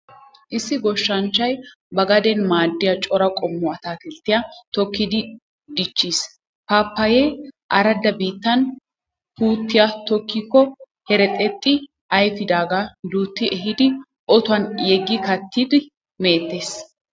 Issi goshshanchchay ba gaden maaddiya cora qommo ataakilttiya tokkidi dichchees. Paappayee aradda biittan puutiya tokkikko herxxexxi ayfidaagaa duutti ehidi otuwan yeggi kattidi meettees.